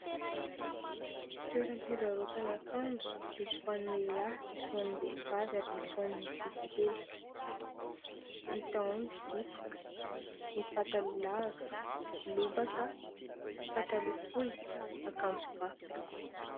Toera-pivarotana akanjo misy ho an'ny lehilahy misy ho ho an'ny vehivavy ary misy ho an'ny ankizy kely. Hita ao ny zipo, ny pataloha lava, lobaka, pataloha fohy, akanjoba.